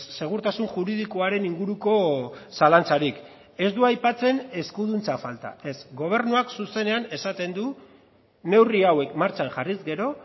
segurtasun juridikoaren inguruko zalantzarik ez du aipatzen eskuduntza falta ez gobernuak zuzenean esaten du neurri hauek martxan jarriz gero